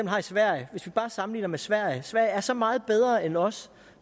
har i sverige hvis vi bare sammenligner med sverige ser sverige er så meget bedre end os